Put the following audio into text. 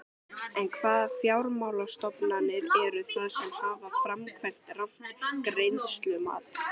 En hvaða fjármálastofnanir eru það sem hafa framkvæmt rangt greiðslumat?